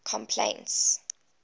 complaints